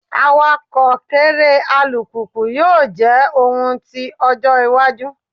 Awakọ kere alupupu yoo jẹ ohun ti ojo iwaju